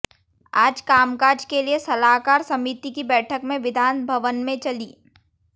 आज कामकाज के लिए सलाहकार समिति की बैठक में विधानभवन में चली